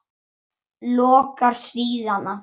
Lokar síðan aftur.